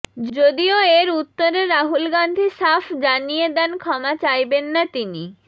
যদি এর উত্তরে রাহুল গান্ধী সাফ জানিয়ে দেন ক্ষমা চাইবেন না তিনি